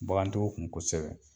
Bagantigiw kun kosɛbɛ.